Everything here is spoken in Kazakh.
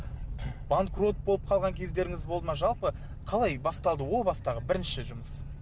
банкрот болып қалған кездеріңіз болды ма жалпы қалай басталды ол бастағы бірінші жұмыс